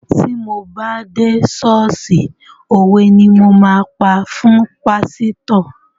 Ti mo bá dé ṣọ́ọ̀ṣì òwe ni mo máa pa fún pásítọ̀.